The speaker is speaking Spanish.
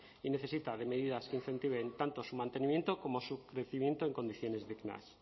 y necesita de medidas que incentiven tanto su mantenimiento como su crecimiento en condiciones dignas